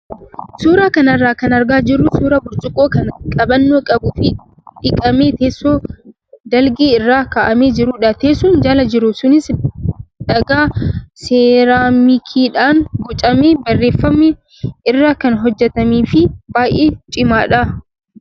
Suuraa kana irraa kan argaa jirru suuraa burcuqqoo kan qabannoo qabuu fi dhiqamee teessoo dalgee irra kaa'amee jirudha. Teessoon jala jiru sunis dhagaa seeraamikiidhaan bocamee bareeffame irraa kan hojjatamee fi baay'ee cimaadha.